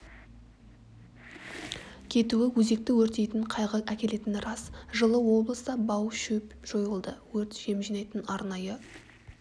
кетуі өзекті өртейтін қайғы әкелетіні рас жылы облыста бау шөп жойылды өрт жем жинайтын арнайы